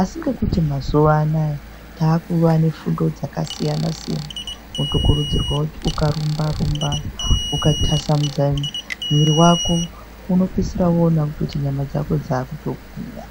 asi ngekuti mazuwa ano aya taakuva nefundo dzaksiyansiyana wotokurudzirwe kuti ukarumba-rumba ukatasamudza mwiri wako unopedzisira woone kuti nyama dzako dzakutogwinya.